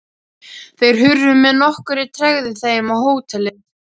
Þeir hurfu með nokkurri tregðu heim á hótelið.